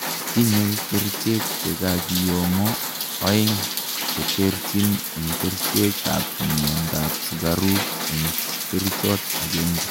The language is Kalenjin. tinyei kerichek chekakiyomo oeng cheterchin en kerichek an miandap sugaruk en kerichot agengei